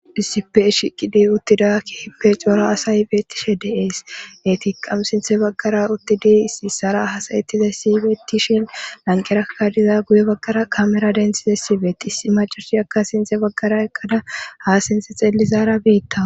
issipe shiqidi uttidakki hipe cora asaybeetishe deees etiqqam sinthe baggara uttidi issisara hasayetite siybeetishin lanqerakadiza guye baggara kamera denthide sibeetti issi macashi akka sinthe baggara ekkada haa sinte xellizaara biitta